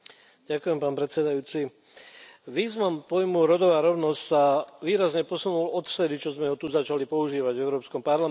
Pán predsedajúci, význam pojmu rodová rovnosť sa výrazne posunula odvtedy, čo sme ho tu začali používať v Európskom parlamente.